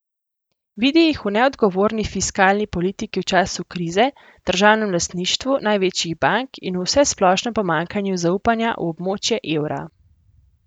Vidi jih v neodgovorni fiskalni politiki v času krize, državnem lastništvu največjih bank in v vsesplošnem pomanjkanju zaupanja v območje evra.